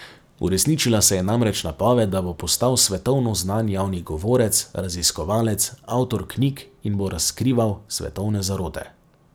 Uresničila se je namreč napoved, da bo postal svetovno znan javni govorec, raziskovalec, avtor knjig in bo razkrival svetovne zarote.